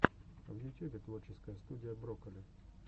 в ютюбе творческая студия брокколи